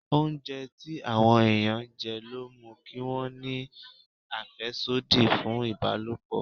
Oúnjẹ tí àwọn ẹ̀yàn jẹ ló mú kí wọn ní àfẹ́sódì fún ìbálòpọ̀.